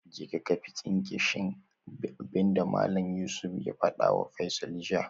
Je ka kaifi tsinke shine abinda Malam Yusuf ya fadawa Faisal jiya